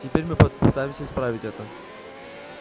теперь мы попытаемся исправить это